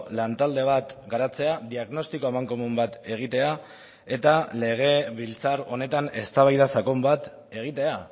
lan talde bat garatzea diagnostiko amankomun bat egitea eta legebiltzar honetan eztabaida sakon bat egitea